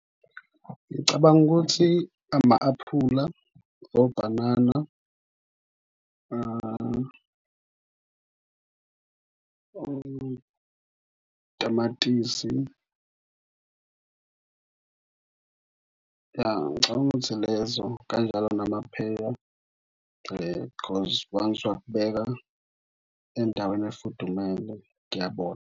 Ngicabanga ukuthi ama-aphula, obhanana, otamatisi . Ya, ngicabanga ukuthi lezo kanjalo namapheya because once wakubeka endaweni efudumele kuyabola.